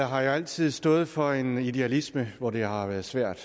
har jo altid stået for en idealisme hvor det har været svært